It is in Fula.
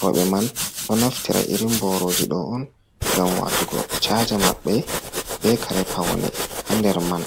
rooɓe man ɗo naftira irin boorooji ɗo on ngam watugo caaja maɓɓe, be kare pawne haa nder man.